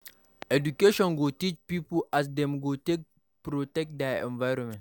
Education go teach pipo as dem go take protect their environment